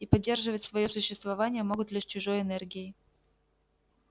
и поддерживать своё существование могут лишь чужой энергией